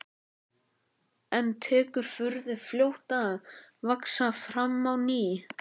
En tekur furðu fljótt að vaxa fram á ný.